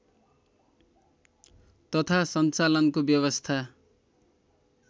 तथा सञ्चालनको व्यवस्था